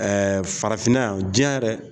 Ɛɛ farafinna yan, diɲɛ yɛrɛ